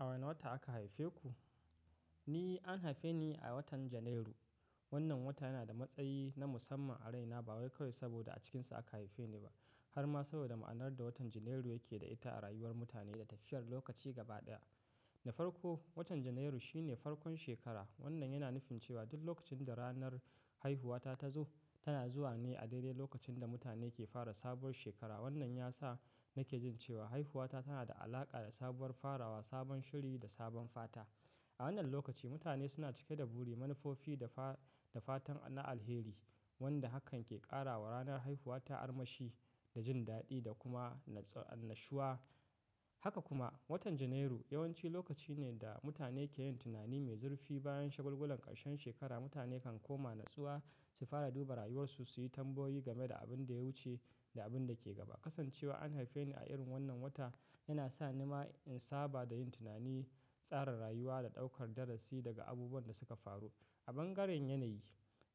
A wani wata aka haife ku? Ni an haife ni a watan Janairu. Wannan wata yana da matsayi na musamman a raina ba wai kawai saboda a cikinsa aka haife ni ba, har ma saboda ma'anar da watan Janairu yake da ita a rayuwar mutane da tafiyar lokaci gaba ɗaya. Na farko, watan Janairu shine farkon shekara, wannan yana nufin cewa duk lokacin da ranar haihuwa ta tazo, tana zuwa ne a daidai lokacin da mutane ke fara sabuwar shekara. Wannan ya sa nake jin cewa haihuwa ta tana da alaƙa da sabuwar farawa, sabon shiri da sabon fata. A wannan lokaci, mutane suna cike da buri, manufofi da fa-da fatan na alheri wanda hakan ke ƙara wa ranar haihuwa ta armashi, da jin daɗi da kuma annashuwa. Haka kuma, watan Janairu yawanci lokaci ne da mutane ke yin tunani mai zurfi bayan shagulgulan ƙarshen shekara. Mutane kan koma natsuwa su fara duba rayuwarsu, su yi tambayoyi game da abin da ya wuce da abin da ke gaba. Kasancewa an haife ni a irin wannan wata yana sa ni ma in saba da yin tunani, tsara rayuwa da ɗaukar darasi daga abubuwan da suka faru. A bangaren yanayi,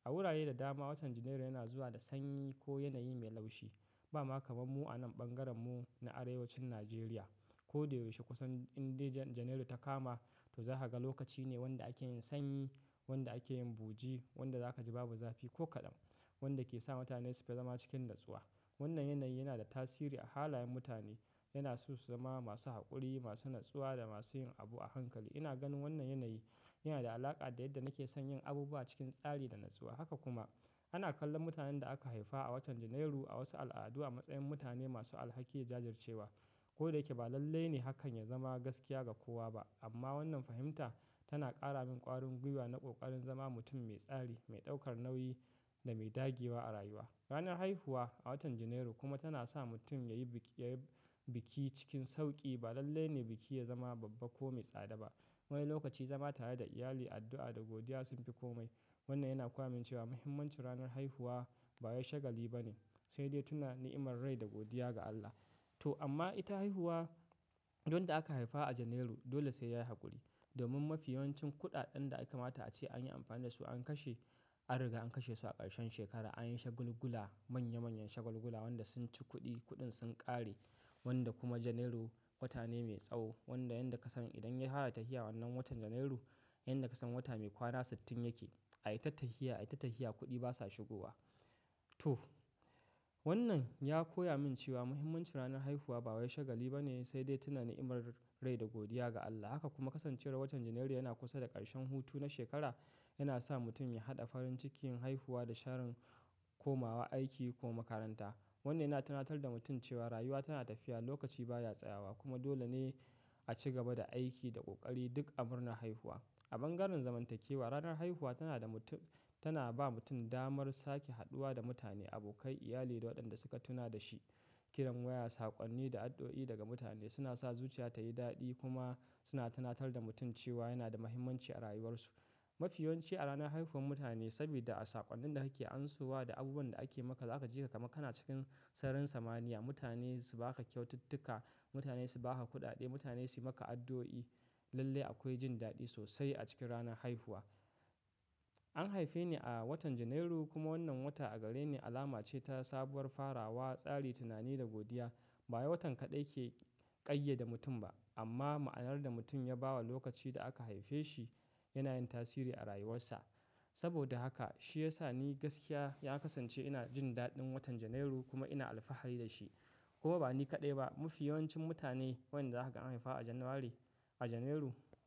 a wurare da dama watan Janairu yana zuwa da sanyi ko yanayi mai laushi. Ba ma kamar mu a nan ɓangaren mu na arewacin Najeriya. Ko da yaushe kusan in dai Janairu ta kama, to za ka ga lokaci ne wanda ake yin sanyi, wanda ake yin buji, wanda za ka ji babu zafi ko kaɗan, wanda ke sa mutane su fi zama cikin natsuwa. Wannan yanayi yana da tasiri a halayen mutane, yana so su zama masu haƙuri, masu natsuwa da masu yin abu a hankali. Ina ganin wannan yanayi yana da alaƙa da yadda nake son yin abubuwa cikin tsari da natsuwa. Haka kuma, ana kallon mutanen da aka haifa a watan Janairu a wasu al'adu a matsayin mutane masu alhaki da jajircewa. Ko da yake ba lalle ne hakan ya zama gaskiya ga kowa ba, amma wannan fahimta tana ƙara min ƙwarin gwiwa na ƙoƙarin zama mutum mai tsari, mai ɗaukar nauyi da mai dagewa a rayuwa. Ranar haihuwa a watan Janairu kuma tana sa mutum ya yi biki cikin sauƙi. Ba lalle ne biki ya zama babba ko mai tsada ba, wani lokaci zama tare da iyali, addu'a da godiya sun fi komai. Wannan yana koya min cewa mahimmancin ranar haihuwa bawai shagali ba ne, sai dai tuna ni'imar rai da godiya ga Allah. To amma ita haihuwa, duk wanda aka haifa a Janairu dole sai ya yi haƙuri domin mafi yawancin kuɗaɗen da aka mata a ce an yi amfani da su an kashe, an riga an kashe su a ƙarshen shekara, an yi shagulgula manya manyan shagulgula wanda sun ci kuɗi, kuɗin sun ƙare wanda kuma Janairu wata ne mai tsawo wanda yadda ka san idan ya fara tafiya wannan watan Janairu, yadda ka san wata mai kwana sittin yake. Ai ta tafiya, ai ta tafiya kuɗi basa shigowa. To wannan ya koya min cewa muhimmancin ranar haihuwa ba wai shagali ba ne sai dai tuna ni'imar rai da godiya ga Allah. Haka kuma kasancewar watan Janairu yana kusa da ƙarshen hutu na shekara yana sa mutum ya haɗa farin cikin haihuwa da sharin komawa aiki ko makaranta. Wannan yana tunatar da mutum cewa rayuwa tana tafiya, lokaci baya tsayawa kuma dole ne a ci gaba da aiki da ƙoƙari duk amurnan haihuwa. A bangaren zamantakewa, ranar haihuwa tana ba mutum damar sake haɗuwa da mutane, abokai, iyali da waɗanda suka tuna da shi. Kiran waya, saƙonni da addu'o'i daga mutane suna sa zuciya ta yi daɗi kuma suna tunatar da mutum cewa yana da mahimmanci a rayuwarsu. Mafi yawanci a ranar haihuwar mutane saboda a saƙonnin da ake amsowa da abubuwan da ake maka za ka ji ka kaman kana cikin sararin samaniya. Mutane su ba ka kyaututtuka, mutane su ba ka kuɗaɗe, mutane su yi maka addu'o'i. Lalle akwai jin daɗi sosai a cikin ranar haihuwa. An haife ni a watan Janairu kuma wannan wata a gare ni alama ce ta sabuwar farawa, tsari, tunani da godiya. Ba wai watan kaɗai ke ƙayyada mutum ba amma ma'anar da mutum ya ba wa lokaci da aka haife shi yana yin tasiri a rayuwarsa. Saboda haka shi ya sa ni gaskiya ya kasance ina jin daɗin watan Janairu kuma ina alfahari da shi. Kuma ba ni kaɗai ba, mafi yawancin mutane wanda za ka ga an haifa a January, a Janairu.